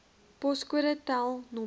poskode tel nr